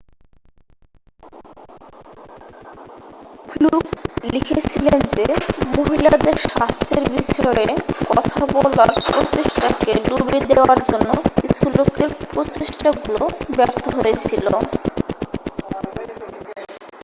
fluke লিখেছিলেন যে মহিলাদের স্বাস্থ্যের বিষয়ে কথা বলার প্রচেষ্টাকে ডুবিয়ে দেয়ার জন্য কিছু লোকের প্রচেষ্টাগুলো ব্যর্থ হয়েছিল